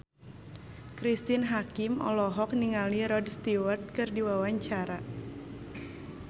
Cristine Hakim olohok ningali Rod Stewart keur diwawancara